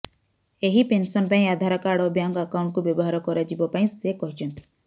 ଏହି ପେନସନ ପାଇଁ ଆଧାର କାର୍ଡ ଓ ବ୍ୟାଙ୍କ ଆକାଉଣ୍ଟକୁ ବ୍ୟବହାର କରାଯିବ ପାଇଁ ସେ କହିଛନ୍ତି